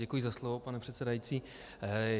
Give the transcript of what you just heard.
Děkuji za slovo, pane předsedající.